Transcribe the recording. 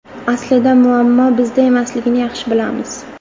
Aslida, muammo bizda emasligini yaxshi bilamiz.